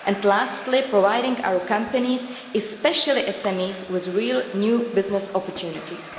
and lastly, providing our companies, especially SMEs, with real new business opportunities.